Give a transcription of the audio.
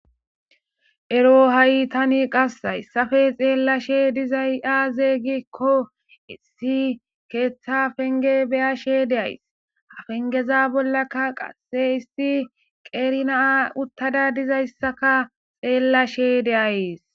ero ha7i tani qassayssafe xeellashe dizay aazey gikko issi keeththa penge beyashe deays ha pengeza bollaka qasse issi qeerinaa uttada dizayssaka xeellashe deayes